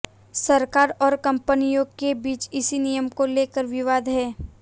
सरकार और कंपनियों के बीच इसी नियम को लेकर विवाद है